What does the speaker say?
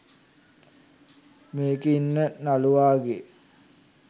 මේකෙ ඉන්න නළුවාගේ